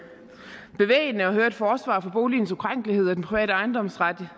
bevægende at høre et forsvar for boligens ukrænkelighed og den private ejendomsret